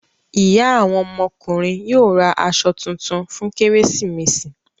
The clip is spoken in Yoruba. Ìyá àwọn ọmọkùnrin yóò ra aṣọ tuntun fún Kérésìmesì.